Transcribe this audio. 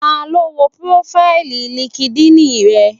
Ta ló wo prófáìlì línkídinì rẹ?